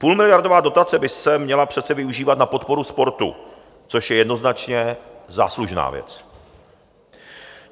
Půlmiliardová dotace by se měla přece využívat na podporu sportu, což je jednoznačně záslužná věc.